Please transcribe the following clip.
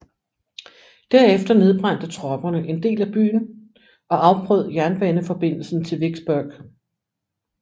Derefter nedbrændte tropperne en del af byen og afbrød jernbaneforbindelsen til Vicksburg